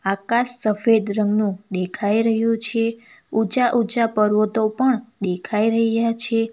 આકાશ સફેદ રંગનું દેખાઈ રહ્યું છે ઊંચા ઊંચા પર્વતો પણ દેખાઈ રહ્યા છે.